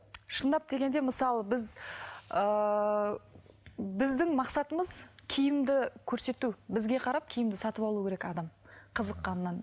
шындап дегенде мысалы біз ыыы біздің мақсатымыз киімді көрсету бізге қарап киімді сатып алу керек адам қызыққаннан